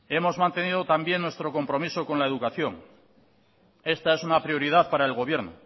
hemos mantenido también nuestro compromiso con la educación esta es una prioridad para el gobierno